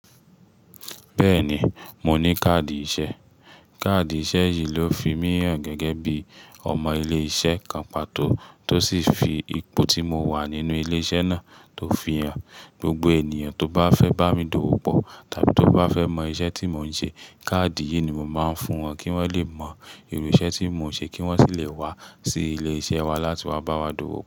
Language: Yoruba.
Bẹ́ẹ̀ni, mo ní káàdì iṣẹ́. Káàdì iṣẹ́ yìí ló fi mí hàn gẹ́gẹ́ bí ọmọ ilé iṣẹ́ kan pàtó, tó sì fi ipò tí mo wà nínú ilé iṣẹ́ náà tó fihàn. Gbogbo ènìyàn tó bá fẹ́ bá mi dòwò pọ̀ tàbí tó bá fẹ́ mọ iṣẹ́ tí mò ń ṣe, káàdì yìí ni mo máa ń fún wọn kí wọ́n lè mọ irú iṣẹ́ tí mò ń ṣe kí wọ́n sì lè wá sí ilé iṣẹ́ wa láti wá bá wa dòwò.